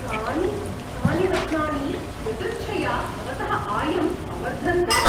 कानि गुप्तानि रत्नानि यदृच्छया भवतः आयम् अवर्धन्त?